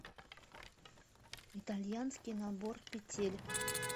итальянский набор петель